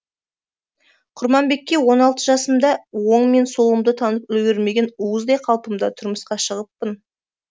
құрманбекке он алты жасымда жасымда оң мен солымды танып үлгермеген уыздай қалпымда тұрмысқа шығыппын